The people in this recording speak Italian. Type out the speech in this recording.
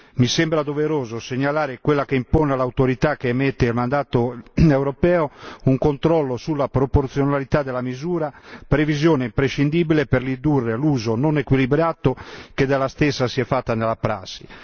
Mi sembra doveroso segnalare quella che impone all'autorità che emette il mandato europeo un controllo sulla proporzionalità della misura, previsione imprescindibile per ridurre l'uso non equilibrato che dalla stessa si è fatto nella prassi.